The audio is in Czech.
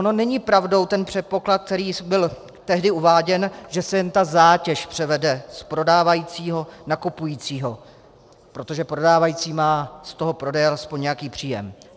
On není pravdou ten předpoklad, který byl tehdy uváděn, že se jen ta zátěž převede z prodávajícího na kupujícího, protože prodávající má z toho prodeje alespoň nějaký příjem.